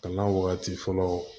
Kana wagati fɔlɔ